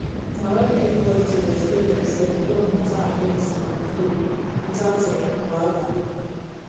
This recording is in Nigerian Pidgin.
na when everybody dey respect demselves god matter and medicine go flow without um wahala